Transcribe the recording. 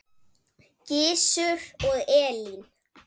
Gizur og Elín.